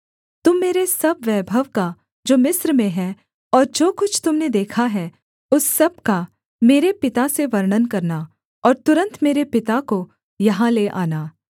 तुम मेरे सब वैभव का जो मिस्र में है और जो कुछ तुम ने देखा है उस सब का मेरे पिता से वर्णन करना और तुरन्त मेरे पिता को यहाँ ले आना